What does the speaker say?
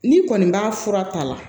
N'i kɔni b'a fura ta la